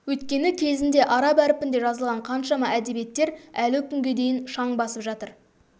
өйткені кезінде араб әрпінде жазылған қаншама әдебиеттер әлі күнге дейін шаң басып жатыр